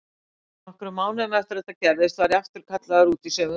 Nokkrum mánuðum eftir að þetta gerðist var ég aftur kallaður út í sömu verslun.